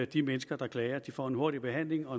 de mennesker der klager de får en hurtigere behandling og